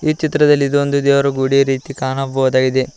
ಚಿತ್ರದಲ್ಲಿ ಇದು ಒಂದು ದೇವರ ಗುಡಿ ರೀತಿ ಕಾಣಬಹುದಾಗಿದೆ.